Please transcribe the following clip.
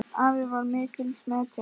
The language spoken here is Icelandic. Afi var mikils metinn.